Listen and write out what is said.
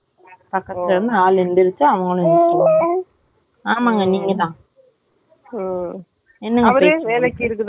இல்ல இல்ல இன்னைக்கு car ready பண்ணுறதுக்காக அந்த seat dicky ல போடல.அதுனால போட்டு வரதுக்கு போய் இருக்காரு கிழ இருந்து ready பண்ணாங்க .